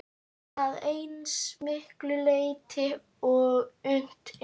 Að eins miklu leyti og unnt er.